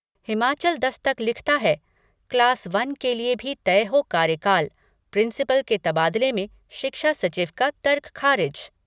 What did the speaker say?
हिमाचल दस्तक लिखता है class one के लिए भी तय हो कार्यकाल, प्रिंसिपल के तबादले में शिक्षा सचिव का तर्क खारिज।